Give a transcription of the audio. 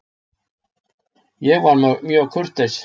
Ég var mjög kurteis.